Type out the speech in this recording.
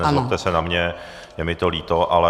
Nezlobte se na mě, je mi to líto, ale...